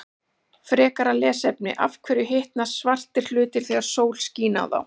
Frekara lesefni: Af hverju hitna svartir hlutir þegar sól skín á þá?